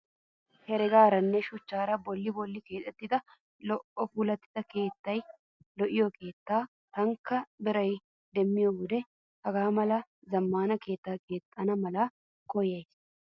Heregaaranne shuchchaara bolli bollan keexetti lo'i puulatti keexettida lo'iyaa keettaa. Taanikka biraa demmiyoo wode haga mala zammaana keettaa keexxana mala koyyayisi.